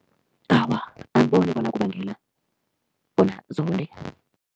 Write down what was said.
Awa, angiboni bona kubangela bona zonde.